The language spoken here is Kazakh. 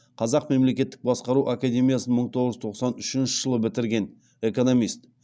қазақ мемлекеттік басқару академиясын мың тоғыз жүз тоқсан үшінші жылы бітірген экономист